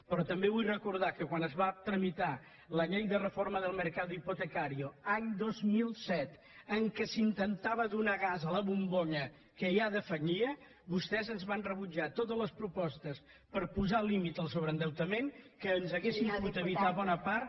però també vull recordar que quan es va tramitar la llei de reforma del mercado hipotecario any dos mil set amb què s’intentava donar gas a la bombolla que ja defallia vostès ens van rebutjar totes les propostes per posar límit al sobreendeutament que ens hauria pogut evitar bona part